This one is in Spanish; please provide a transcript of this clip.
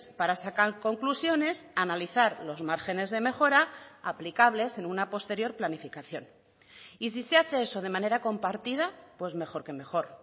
para sacar conclusiones analizar los márgenes de mejora aplicables en una posterior planificación y si se hace eso de manera compartida pues mejor que mejor